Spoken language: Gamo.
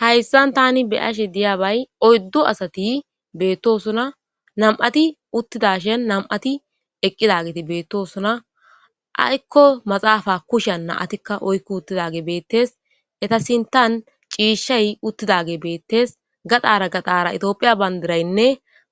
Hayssan tani beyashe diyabay oyddo asati beettosona nam'ati uttidashen nam'ati eqqidageti beettosona aykko maxaafa kushean naatikka oykku uttidage beettes eta sintan ciishay uttidage beettes gadaara gadaara itoophiya bandiraynne